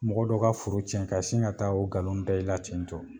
Mɔgɔ dɔ ka foro cɛn ka sin ka taa o nkalon da i la ten tɔ.